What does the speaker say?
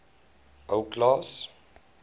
ou klaas